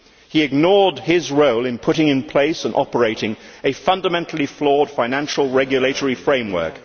He ignored his role in putting in place and operating a fundamentally flawed financial regulatory framework.